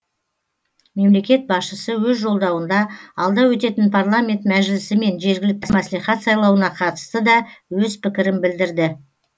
мемлекет басшысы өз жолдауында алда өтетін парламент мәжілісімен жергілікті мәслихат сайлауына қатысты да өз пікірін білдірді